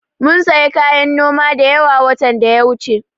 Mum sayi kayan noma da yawa, watan da ya wuce.